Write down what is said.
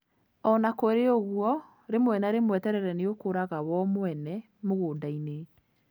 O na kũrĩ ũguo, rĩmwe na rĩmwe terere nĩ ũkũraga wo mwene mũgũnda-ini.